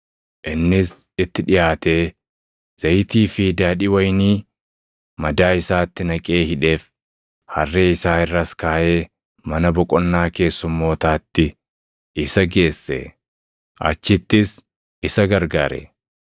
Innis itti dhiʼaatee zayitii fi daadhii wayinii madaa isaatti naqee hidheef; harree isaa irras kaaʼee, mana boqonnaa keessummootaatti isa geesse; achittis isa gargaare.